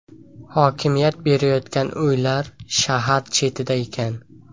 Hokimiyat berayotgan uylar shahar chetida ekan.